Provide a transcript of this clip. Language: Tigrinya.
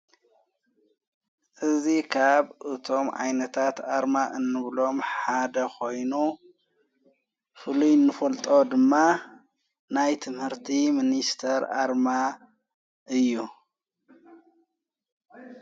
እዙ ኻብ እቶም ኣይነታት ኣርማ እንብሎም ሓደ ኾይኑ ፍሉይንፈልጦ ድማ ናይት ምህርቲ ምንስተር ኣርማ እዩ።